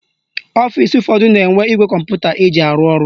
Ọfisi ụfọdụ na-enwe igwe kọmputa eji arụ ọrụ.